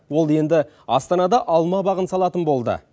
ол енді астанада алма бағын салатын болды